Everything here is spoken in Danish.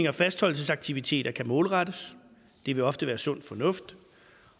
og fastholdelsesaktiviteter kan målrettes det vil ofte være sund fornuft